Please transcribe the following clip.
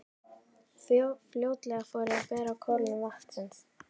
Fljótlega fór að bera á kólnun vatnsins.